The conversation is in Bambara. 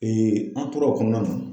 an tora o kɔnɔna na